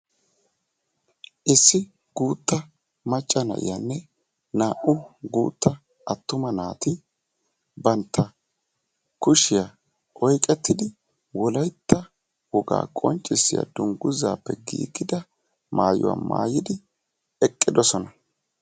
Issi guutta macca na"iyaanne naa"u guutta attuma naati bantta kushiyaa oyqettidi wolaytta wogaa qonccissiyaa dunguzaappe giigida maayuwa maayidi eqqidosona.